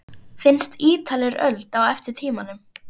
Finnst Ítalir öld á eftir tímanum.